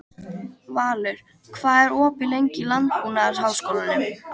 Valur, hvað er opið lengi í Landbúnaðarháskólanum?